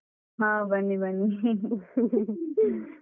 ಹ ಬನ್ನಿ ಬನ್ನಿ.